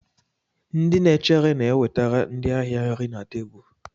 Ndị na-echere na-ewetara ndị ahịa nri na tebụl.